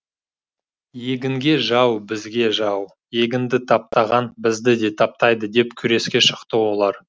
егінге жау бізге жау егінді таптаған бізді де таптайды деп күреске шықты олар